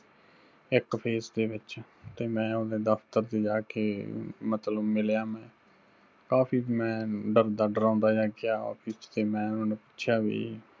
ਇੱਕ phase ਦੇ ਵਿੱਚ, ਤੇ ਮੈਂ ਉਹਦੇ ਦਫ਼ਤਰ ਚ ਜਾਕੇ ਮਤਲਬ ਮਿਲਿਆ ਮੈਂ, ਕਾਫ਼ੀ ਮੈਂ ਡਰਦਾ ਡਰਾਉੰਦਾ ਜਿਹਾ ਗਿਆ Office ਚ ਤੇ ਮੈਂ ਉਹਨਾਂ ਨੂੰ ਪੁਛਿੱਆ ਵੀ